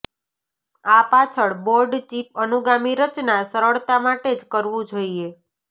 આ પાછળ board chip અનુગામી રચના સરળતા માટે જ કરવું જોઇએ